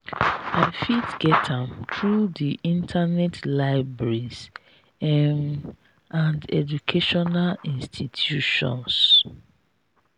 i fit get am through di internet libraries um and educational institutions.